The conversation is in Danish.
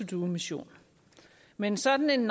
do mission men sådan en